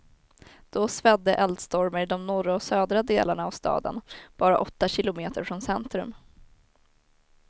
Då svedde eldstormar i de norra och södra delarna av staden, bara åtta kilometer från centrum.